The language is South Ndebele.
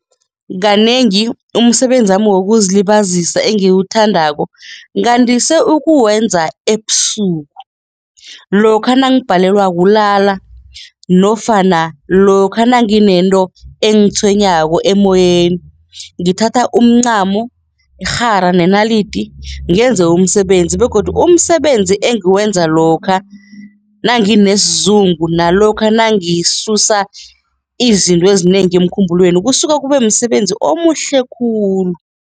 Kanengi umsebenzi wami wokuzilibazisa engiwuthandako, ngandise ukuwenza ebusuku lokha nangibhalelwa kulala nofana lokha nangithi nento engitshwenyako emoyeni, ngithatha umncamo, irhara nenalidi ngenze umsebenzi begodu umsebenzi engiwenza lokha nanginesizungu nalokha nangisusa izinto ezinengi emkhumbulweni kusuka kube msebenzi omuhle khulu.